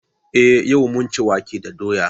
Eh yau mun ci wake da doya.